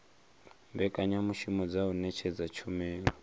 mbekanyamushumo dza u ṅetshedza tshumelo